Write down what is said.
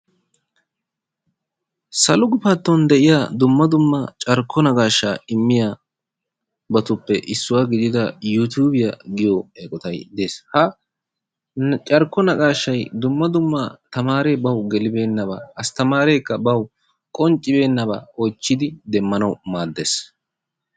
Salo guffantton de'iyaa dumma dumma carkko naqashshaa immiyaabatuppe issuwaa giidida yuutubiyaa giyoo eqoty dees. ha carkko naqashshay dumma dumma tamaree bawu geelibenaaba astamareka bawu qonccibeenaba oychchidi demmanawu maaddees.